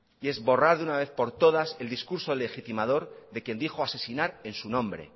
y borrar una vez por todas el discurso legitimador de quien dijo asesinar en su nombre